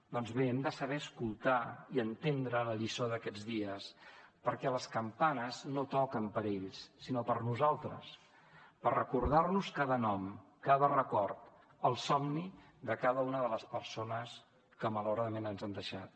doncs bé hem de saber escoltar i entendre la lliçó d’aquests dies perquè les campanes no toquen per ells sinó per nosaltres per recordar nos cada nom cada record el somni de cada una de les persones que malauradament ens han deixat